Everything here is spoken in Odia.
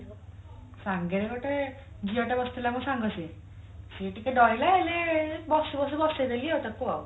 ସାଙ୍ଗରେ ଝିଅ ଟା ବସିଥିଲା ମୋ ସାଙ୍ଗ ସିଏ ସିଏ ଟିକେ ଡରିଲା ହେଲେ ବସୁ ବସୁ ବସେଇ ଦେଲି ତାକୁ ଆଉ